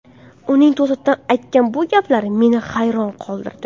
Uning to‘satdan aytgan bu gaplari meni hayron qoldirdi.